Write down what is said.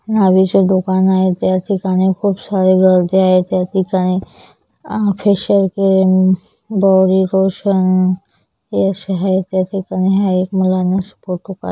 नाविच दुकाने आहे त्या ठिकाणी खूपसारी गर्दी आहेत त्या ठिकाणी फेशिअल क्रिम बॉडी लोशन ये अशे आहेत या ठिकाणी मला एक